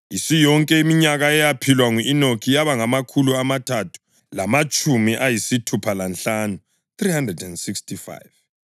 Isiyonke iminyaka eyaphilwa ngu-Enoki yaba ngamakhulu amathathu lamatshumi ayisithupha lanhlanu (365).